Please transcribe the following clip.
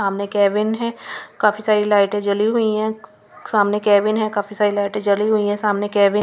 सामने केविन है काफी सारी लाइटें जली हुई है सामने केविन है काफी सारी लाइटें जली हुई है सामने केविन --